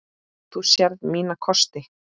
Þú sérð mína kosti.